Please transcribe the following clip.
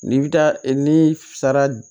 N'i bi taa ni sara